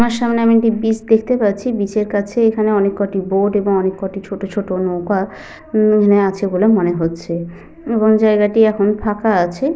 আমার সামনে আমি একটি বিচ দেখতে পাচ্ছি। বিচের কাছে এখানে অনেককটি বোট এবং অনেককটি ছোট ছোট নৌকা উম এখানে আছে বলে মনে হচ্ছে এবং জায়গাটি এখন ফাঁকা আছে।